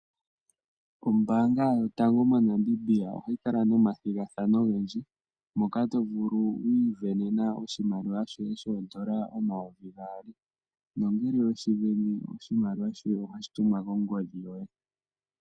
Ombaanga yotango moNamibia ohayi kala nomathigathano ogendji moka tovulu okuisindanena oshimaliwa shoye shodola omayovi gaali na ngele weshisindana oshimaliwa shoye ohashi tumwa kongodhi yoye.